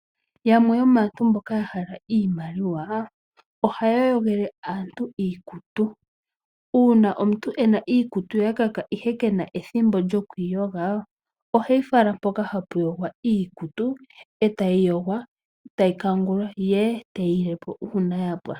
Yamwe yomaantu mboka ya hala iimaliwa ohaya yogele aantu iikutu. Uuna omuntu e na iikutu ya kaka, ihe ke na ethimbo lyokuyi yoga oheyi fala mpoka hapu yogwa iikutu, e tayi yogwa nokukangulwa ndele te yi ile po uuna ya pwa.